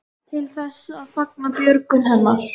Til þess að fagna björgun hennar?